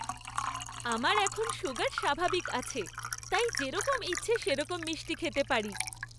আমার এখন সুগার স্বাভাবিক আছে, তাই যেরকম ইচ্ছে সেরকম মিষ্টি খেতে পারি।